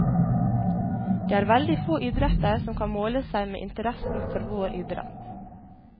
Det er veldig få idretter som kan måle seg med interessen for vår idrett.